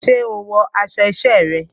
Ṣé o wọ aṣọ isẹ́ rẹ?